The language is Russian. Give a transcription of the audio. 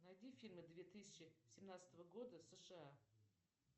найди фильмы две тысячи семнадцатого года сша